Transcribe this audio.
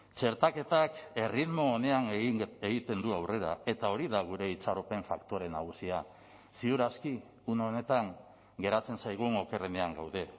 txertaketak erritmo onean egiten du aurrera eta hori da gure itxaropen faktore nagusia ziur aski une honetan geratzen zaigun okerrenean gaude